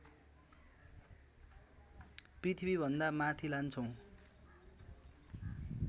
पृथ्वीभन्दा माथि लान्छौँ